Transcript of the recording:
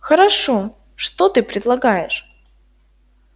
хорошо что ты предлагаешь